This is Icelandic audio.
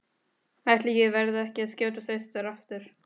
Ætli ég verði ekki að skjótast austur aftur.